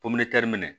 minɛ